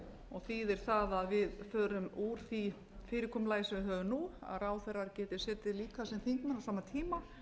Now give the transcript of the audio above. og þýðir það að við förum úr því fyrirkomulagi sem við höfum nú að ráðherrar geti setið líka sem þingmenn á sama tíma